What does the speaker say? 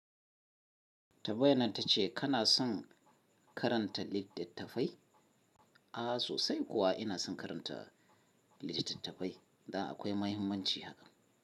Tambayannan ta ce kana son karanta littattafai? A sosai kuwa ina son karanta litattafai. Dan akwai mahimmanci haka.